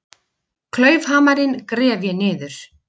Klaufhamarinn gref ég niður.